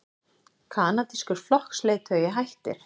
Kanadískur flokksleiðtogi hættir